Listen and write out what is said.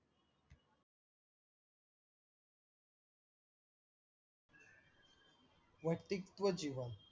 व्यक्तित्व जीवन